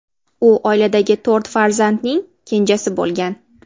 U oiladagi to‘rt farzandning kenjasi bo‘lgan.